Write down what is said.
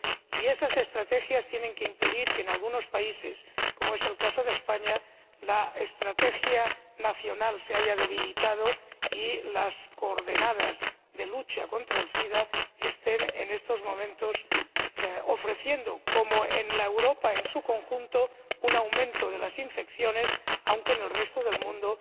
Y esos planes tienen que impedir que en algunos países, como es el caso de España, la estrategia nacional se debilite y los datos relativos a la lucha contra el sida estén en estos momentos mostrando, como en Europa en su conjunto, un aumento de las infecciones, aunque en el resto del mundo